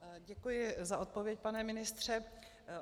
Děkuji za odpověď, pane ministře.